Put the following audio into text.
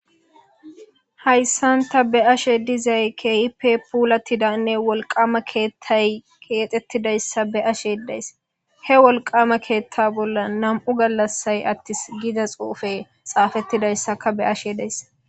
hayssanta be ashe dizay keehi pe puulattidanne wolqama keethtay keexettidayssa be ashe days he wolqama keethta bolla nam7u gallassay attis gida xuufe xaafettidayssaka be ashe deys